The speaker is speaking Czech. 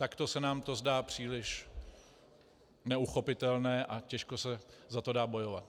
Takto se nám to zdá příliš neuchopitelné a těžko se za to dá bojovat.